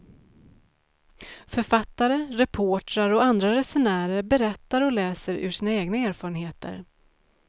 Författare, reportrar och andra resenärer berättar och läser ur sina egna erfarenheter.